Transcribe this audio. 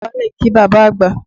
Dọ̀bálẹ̀ kí bàbá àgbà!